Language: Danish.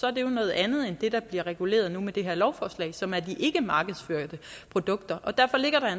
er det jo noget andet end det der bliver reguleret nu med det her lovforslag som er de ikkemarkedsførte produkter og derfor er